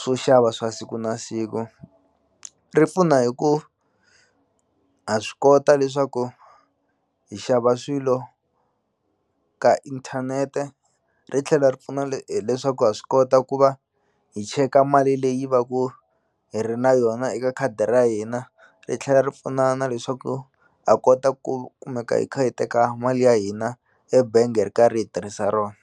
swo xava swa siku na siku ri pfuna hi ku ha swi kota leswaku hi xava swilo ka inthanete ri tlhela ri pfuna hileswaku wa swi kota ku va hi cheka mali leyi va ku hi ri na yona eka khadi ra hina ri tlhela ri pfuna na leswaku ha kota ku kumeka hi kha hi teka mali ya hina ebenge hi ri karhi hi tirhisa rona.